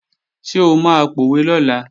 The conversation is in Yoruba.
Ṣé o máa pòwe lọ́la?